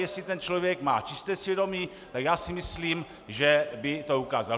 Jestli ten člověk má čisté svědomí, tak já si myslím, že by to ukázal.